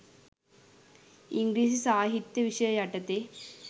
ඉංග්‍රීසි සාහිත්‍ය විෂය යටතේ